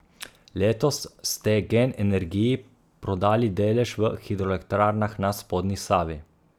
Letos ste Gen energiji prodali delež v Hidroelektrarnah na spodnji Savi.